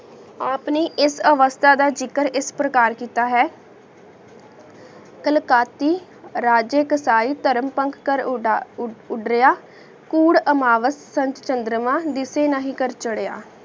ਆਪ ਨੇ ਇਸ ਅਵਾਸਤਾ ਦਾ ਜਿਗਰ ਇਸ ਪ੍ਰਕਾਰ ਕੀਤਾ ਹੈ ਕਲ੍ਕਾਤੀ ਅਰਾਜਕ ਤੈ ਤਾਰ੍ਪੰਖ ਕਰ ਉੜਾ ਉੜ ਉਦ੍ਰਯ੍ਹਾ ਕੋਉਰ ਅਮਾਵਸ ਸੰਤ ਚੰਦ੍ਰਮਾ ਦਿਸੀ ਨਹੀ ਕਰ ਚਾਰ੍ਹੇਯਾ